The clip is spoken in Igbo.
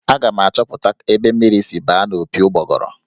Aga m achọpụta ebe mmiri siri baa n'opi ụgbọgọrọ.